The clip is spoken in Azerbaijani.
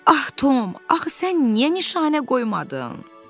Ah Tom, axı sən niyə nişanə qoymadın?